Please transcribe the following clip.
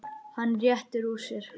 Hann réttir úr sér.